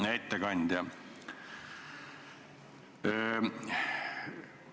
Hea ettekandja!